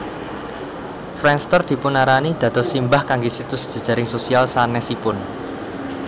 Friendster dipunarani dados simbah kangge situs jejaring sosial sanesipun